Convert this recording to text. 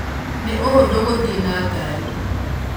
nĩ ũhũthũ gũthiĩ na ngari